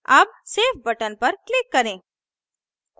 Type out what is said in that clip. अब save button पर click करें